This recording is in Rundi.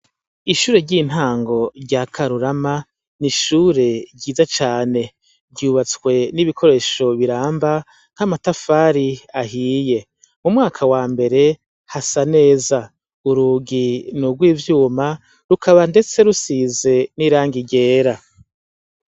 Ishure ry'intango rya karurama ni ishure ryiza cane ryubatswe n'ibikoresho biramba nk'amatafari ahiye mu mwaka wa mbere hasa neza urugi n'urwo ivyuma rukaba, ndetse rusize n'iranga igera.